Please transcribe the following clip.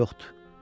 hayf ki yoxdur.